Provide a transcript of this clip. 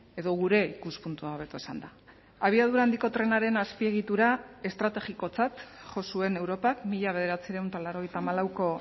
edo gure ikuspuntua hobeto esanda abiadura handiko trenaren azpiegitura estrategikotzat jo zuen europak mila bederatziehun eta laurogeita hamalauko